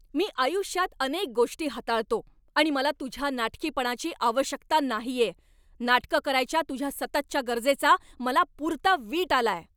मी आयुष्यात अनेक गोष्टी हाताळतो आणि मला तुझ्या नाटकीपणाची आवश्यकता नाहीये. नाटकं करायच्या तुझ्या सततच्या गरजेचा मला पुरता वीट आलाय.